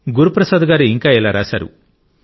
గురు ప్రసాద్ గారు ఇంకా ఇలా రాశారు